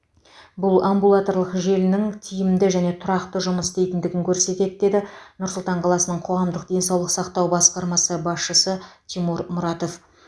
бұл амбулаторлық желінің тиімді және тұрақты жұмыс істейтіндігін көрсетеді дейді нұр сұлтан қаласының қоғамдық денсаулық сақтау басқармасы басшысы тимур мұратов